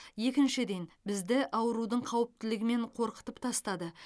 екіншіден бізді аурудың қауіптілігімен қорқытып тастады